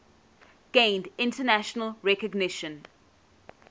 gained international recognition